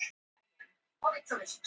Dýrin slefa.